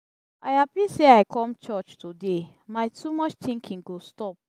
i happy say i come church today my too much thinking go stop